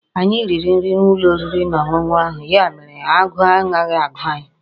Anyi riri nri n'ulo oriri na onunu ahu, ya mere aguu anaghi agu anyi